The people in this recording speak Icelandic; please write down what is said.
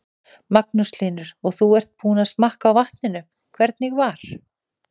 Magnús Hlynur: Og þú ert búinn að smakka á vatninu, hvernig var?